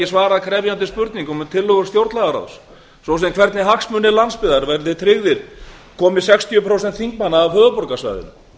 svarað krefjandi spurningum um tillögur stjórnlagaráðs svo sem spurningum um hvernig hagsmunir landsbyggðarinnar verði tryggðir með jöfnun atkvæðavægis og sextíu prósent þingmanna koma af höfuðborgarsvæðinu